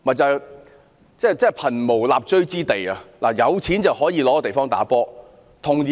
這真是貧無立錐之地，但有錢人則可有地方打球。